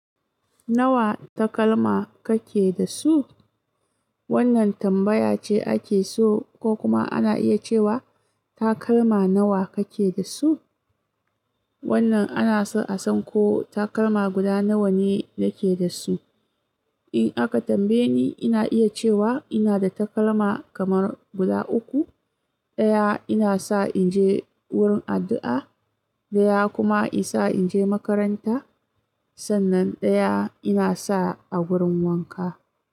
Nawa takalma kake da su? Wannan tambaya ce ake so ko kuma ana iya cewa takalma nawa kake da su? Wannan ana so a san ko takalma guda nawa ne nake da su. In aka tambaye ni, ina iya cewa ina da takalma kamar guda uku. Ɗaya ina sa in je wurin addu'a, ɗaya kuma ina sa in je makaranta sannan ɗaya ina sa a wurin wanka.